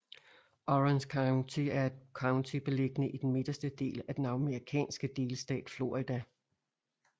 Orange County er et county beliggende i den midterste del af den amerikanske delstat Florida